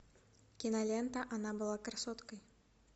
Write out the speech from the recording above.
кинолента она была красоткой